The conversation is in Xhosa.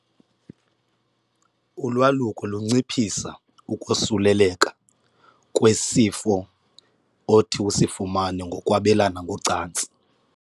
Ulwaluko lunciphisa ukosuleleka kwesifo othi usifumane ngokwabelana ngocantsi.